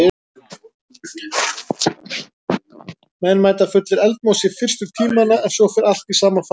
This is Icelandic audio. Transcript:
Menn mæta fullir eldmóðs í fyrstu tímana en svo fer allt í sama farið.